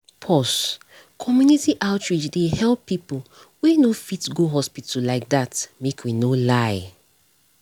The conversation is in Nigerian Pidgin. pause - community outreach dey help people wey no fit go hospital like that make we no lie.